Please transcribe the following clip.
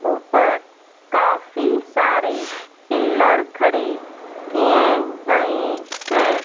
ऊपर काफ़ी सारे पिलर खड़े किए गए है।